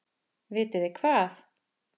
Vitið þið hvað.